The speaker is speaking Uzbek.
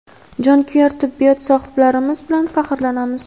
jonkuyar tibbiyot sohiblarimiz bilan faxrlanamiz.